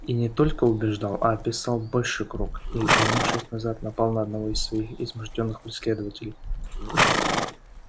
и не только убеждал а описал большой круг и вернувшись назад напал на одного из своих измождённых преследователей